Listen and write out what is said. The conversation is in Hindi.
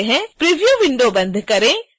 preview विंडो को बंद करें